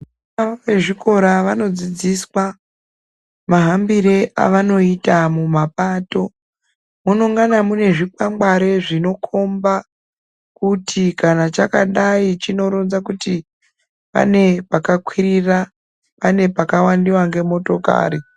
Vezvikora vanodzidziswa mahambiro avanoita mumapato munongana mune zvikwangwari Zvinokomba kuti kana chakadai chinoronza kuti pane chakakwirira pane pakawanikwa nemotokari.